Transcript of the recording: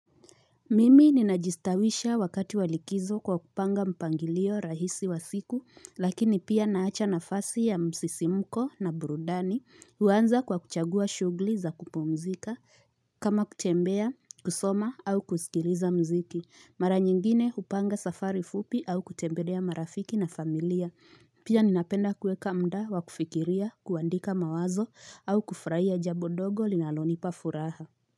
Mimi ninajistawisha wakati wa likizo kwa kupanga mpangilio rahisi wa siku lakini pia naacha nafasi ya msisimko na burudani huanza kwa kuchagua shughuli za kupumzika kama kutembea kusoma au kusikiliza mziki mara nyingine hupanga safari fupi au kutembelea marafiki na familia pia ninapenda kuweka muda wa kufikiria kuandika mawazo au kufurahia jambo dogo linalonipa furaha.